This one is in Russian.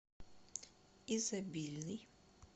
изобильный